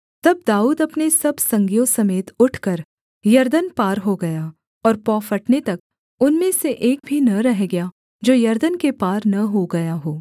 तब दाऊद अपने सब संगियों समेत उठकर यरदन पार हो गया और पौ फटने तक उनमें से एक भी न रह गया जो यरदन के पार न हो गया हो